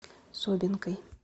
собинкой